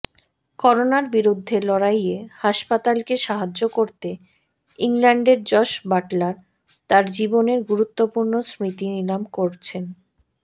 করোনার বিরুদ্ধে লড়াইয়ে হাসপাতালকে সাহায্য করতে ইংল্যান্ডের জস বাটলার তার জীবনের গুরুত্বপূর্ণ স্মৃতি নিলাম করছেন